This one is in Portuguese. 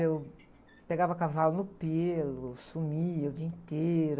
Eu pegava cavalo no pelo, sumia o dia inteiro.